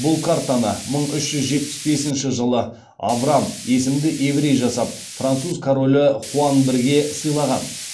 бұл картаны мың үш жүз жетпіс бесінші жылы авраам есімді еврей жасап француз королі хуан бірге сыйлаған